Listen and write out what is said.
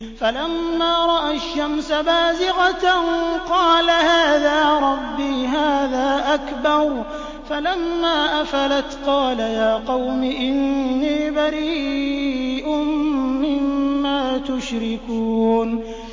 فَلَمَّا رَأَى الشَّمْسَ بَازِغَةً قَالَ هَٰذَا رَبِّي هَٰذَا أَكْبَرُ ۖ فَلَمَّا أَفَلَتْ قَالَ يَا قَوْمِ إِنِّي بَرِيءٌ مِّمَّا تُشْرِكُونَ